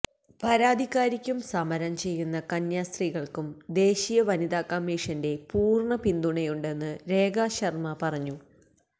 പരാതികാരിക്കും സമരം ചെയ്യുന്ന കന്യാസ്ത്രീകള്ക്കും ദേശീയ വനിതാ കമ്മീഷന്റെ പൂര്ണ പിന്തുണയുണ്ടെന്ന് രേഖാ ശര്മ്മ പറഞ്ഞു